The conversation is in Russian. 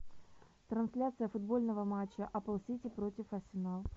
трансляция футбольного матча апл сити против арсенал